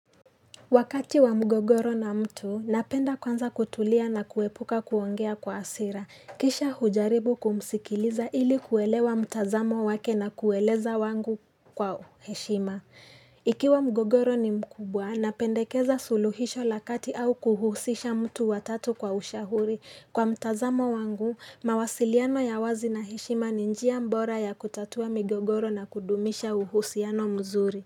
Wakati wa mgogoro na mtu napenda kwanza kutulia na kuepuka kuongea kwa hasira kisha hujaribu kumsikiliza ili kuelewa mtazamo wake na kueleza wangu kwa heshima Ikiwa mgogoro ni mkubwa napendekeza suluhisho la kati au kuhusisha mtu watatu kwa ushahuri kwa mtazamo wangu mawasiliano ya wazi na heshima ninjia mbora ya kutatua mgogoro na kudumisha uhusiano mzuri.